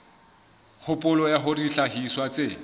kgopolo ya hore dihlahiswa tse